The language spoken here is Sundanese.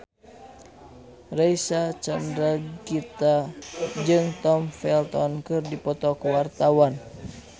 Reysa Chandragitta jeung Tom Felton keur dipoto ku wartawan